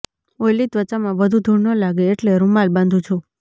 oily ત્વચામાં વધુ ધૂળ ન લાગે એટલે રૂમાલ બાંધું છું